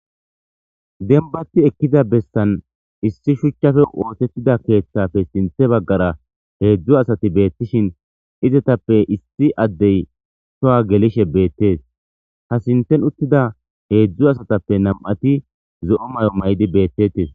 Dembati ekkiza bessan issi shuchchafe ootettida keeththappe sinthe baggara heedzdzu asati beettishin izetappe issi addey sowa gelishe beettees ha sinten uttida heedzdzu asatappe nam'ati zo'o mayo mayidi beettetes